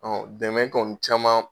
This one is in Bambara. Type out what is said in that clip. Ɔ dɛmɛ kɔni caman